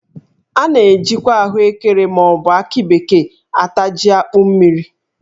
A na- ejikwa ahụekere ma ọ bụ akị bekee ata jí akpụ mmiri.